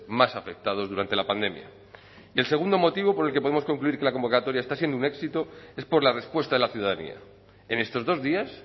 más afectados durante la pandemia y el segundo motivo por el que podemos concluir que la convocatoria está siendo un éxito es por la respuesta de la ciudadanía en estos dos días